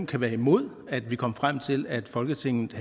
kan være imod at vi kommer frem til at folketinget